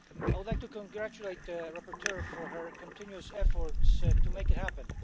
I would like to congratulate the rapporteur for her continuous efforts to make it happen.